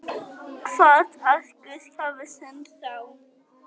Held að Guð hafi sent þá.